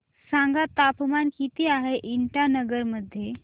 सांगा तापमान किती आहे इटानगर मध्ये